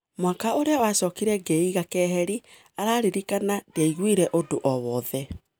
" Mwaka ũrĩa wacokire ngĩiga keheri," araririkana, "ndiaiguire ũndũ o-wothe.